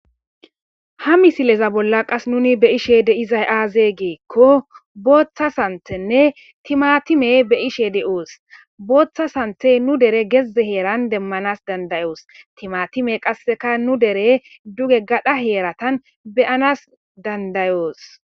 Ha misileza bolla qase muun beyizay aazee gikko booththa santhtthenne timatime beyishe doos boththa sanththe nu der geze heeran deemanas dandayos timatime qasekka duge gadhdha heeretan deemanas dandayos